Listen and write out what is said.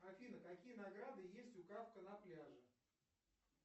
афина какие награды есть у кафка на пляже